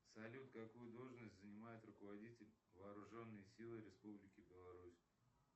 салют какую должность занимает руководитель вооруженные силы республики беларусь